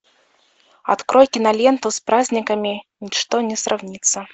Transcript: открой киноленту с праздниками ничто не сравнится